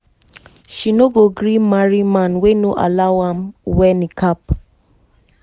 she no go gree marry man wey no allow am wear niqab.